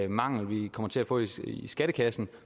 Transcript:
mangel vi kommer til at få i skattekassen